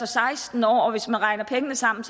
seksten år og hvis man regner pengene sammen